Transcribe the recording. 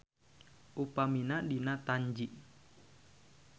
Upamina dina Tanji.